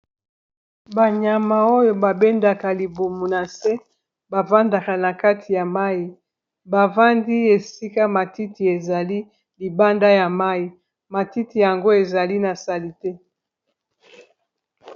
banyama oyo babendaka libumu na se bafandaka na kati ya mai bavandi esika matiti ezali libanda ya mai, matiti yango ezali nasalite.